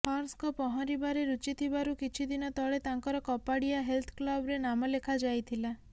ହର୍ଷଙ୍କ ପହଁରିବାରେ ରୁଚି ଥିବାରୁ କିଛି ଦିନ ତଳେ ତାଙ୍କର କପାଡ଼ିଆ ହେଲଥ୍ କ୍ଲବ୍ରେ ନାମ ଲେଖା ଯାଇଥିଲା